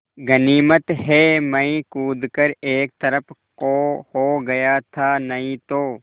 गनीमत है मैं कूद कर एक तरफ़ को हो गया था नहीं तो